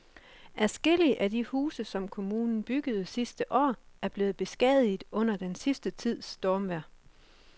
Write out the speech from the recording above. Adskillige af de huse, som kommunen byggede sidste år, er blevet beskadiget under den sidste tids stormvejr.